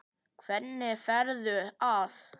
Hvernig ferðu að?